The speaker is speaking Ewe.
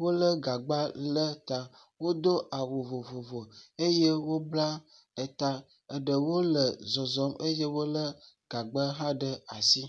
wolé gagba le ta, wodo awu vovovo eye wobla eta, ɖewo le zɔzɔ eye wolé gagba hã ɖe asi.